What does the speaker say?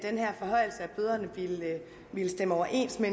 bøderne ville stemme overens med